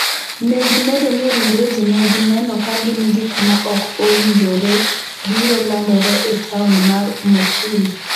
Ne gimedo ni ringre ji ne gineno ka gin gik ma ok owinjorebiro landore e taon mar Mosul.